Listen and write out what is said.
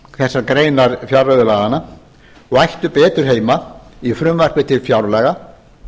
þessar greinar fjárreiðulaganna og ættu betur heima í frumvarpi til fjárlaga